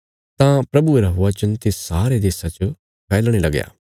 तां प्रभुये रा वचन तिस सारे देशा च फैलणे लगया